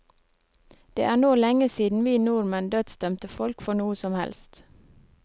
Det er nå lenge siden vi nordmenn dødsdømte folk for noe som helst.